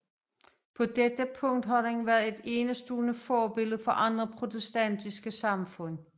På dette punkt har den været et enestående forbillede for andre protestantiske samfund